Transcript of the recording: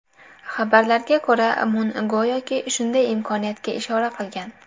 Xabarlarga ko‘ra, Mun go‘yoki, shunday imkoniyatga ishora qilgan.